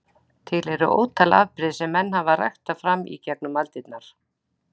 Til eru ótal afbrigði sem menn hafa ræktað fram í gegnum aldirnar.